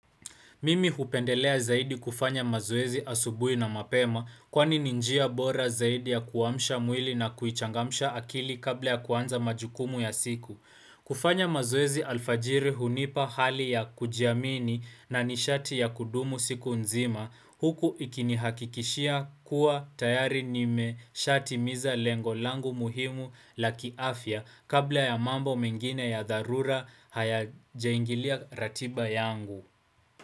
Mimi hupendelea zaidi kufanya mazoezi asubuhi na mapema kwani ni njia bora zaidi ya kuamsha mwili na kuichangamsha akili kabla ya kuanza majukumu ya siku. Kufanya mazoezi alfajiri hunipa hali ya kujiamini na nishati ya kudumu siku nzima huku ikinihakikishia kuwa tayari nimeshatimiza lengo langu muhimu la kiafya kabla ya mambo mengine ya dharura haya jaingilia ratiba yangu.